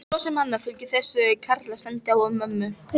Svo er annað sem fylgir þessu karlastandi á mömmu.